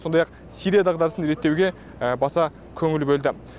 сондай ақ сирия дағдарысын реттеуге баса көңіл бөлді